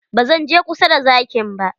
Ba zan je kusa da zakin ba.